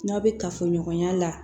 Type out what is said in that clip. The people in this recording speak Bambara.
N'aw bɛ kafoɲɔgɔnya la